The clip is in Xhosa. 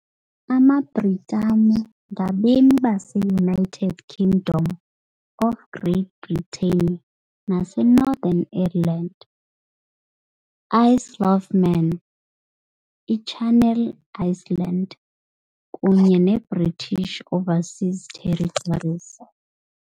AmaBritanengabemi baseUnited Kingdom of Great Britain nase Northern Ireland, Isle of Man, iChannel Islands kunye neBritish Overseas Territories .